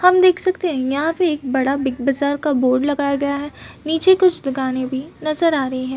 हम देख सकते है यहाँ पे बड़ा बिग बाजार का बोर्ड लगाया गया है नीचे कुछ दुकानें भी नजर आ रही हैं।